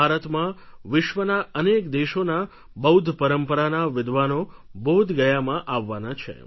ભારતમાં વિશ્વના અનેક દેશોના બૌદ્ધ પરંપરાના વિદ્વાનો બોધગયામાં આવવાના છે